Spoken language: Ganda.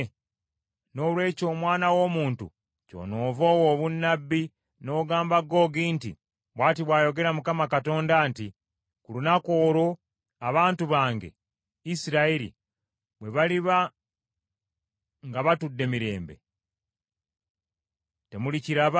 “Noolwekyo omwana w’omuntu kyonoova owa obunnabbi, n’ogamba Googi nti, ‘Bw’ati bw’ayogera Mukama Katonda nti, Ku lunaku olwo abantu bange Isirayiri bwe baliba ng’abatudde mirembe, temulikiraba?